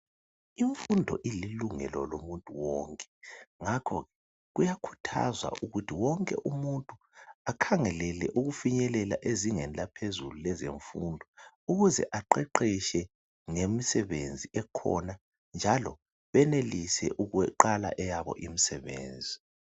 Imfundo ililungele lomuntu wonke, ngakhoke kuyakhuthazwa ukuthi wonke umuntu akhangelele ukufinyelela ezingeni laphezulu lezemfundo ukuze aqeqeshe ngemisebenzi ekhona njalo benelise ukuqala eyabo imisebenzi.